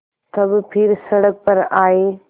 तब फिर सड़क पर आये